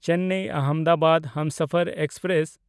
Chennai Ahmedabad Humsafar express